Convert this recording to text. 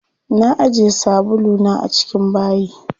Na ajiye sabulu na a cikin bayi.